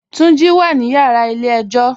Tunji wà nínu yàrà ilẹ̀ èjò.